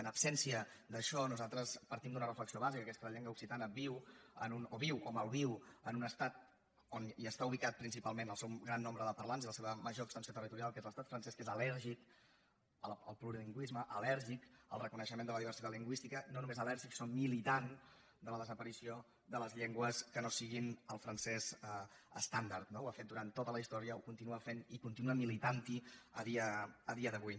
en absència d’això nosaltres partim d’una reflexió bàsica que és que la llengua occitana viu viu o malviu en un estat on està ubicat principalment el seu gran nombre de parlants i la seva major extensió territorial que és l’estat francès que és al·lèrgic al plurilingüisme al·lèrgic al reconeixement de la diversitat lingüística i no només al·lèrgic sinó militant de la desaparició de les llengües que no siguin el francès estàndard no ho ha fet durant tota la història ho continua fent i continua militant hi a dia d’avui